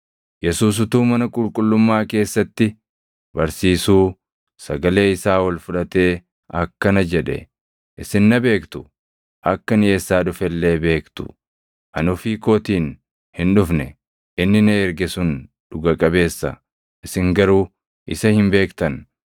Yesuus utuu mana qulqullummaa keessatti barsiisuu sagalee isaa ol fudhatee akkana jedhe; “Isin na beektu; akka ani eessaa dhufe illee beektu. Ani ofii kootiin hin dhufne; inni na erge sun dhuga qabeessa. Isin garuu isa hin beektan;